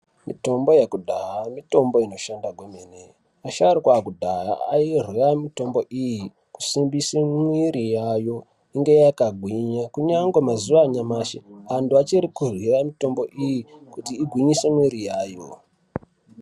Mitombo yakudhaya, mitombo inoshanda gwemene, vasharukwa vakudhaya ayirya mitombo iyi kusimbise muiri yayo inge yakagwinya kunyange mazuva anyamashe antu vachiri kudyira mitombo iyi kuti igwinyise miiri yayo.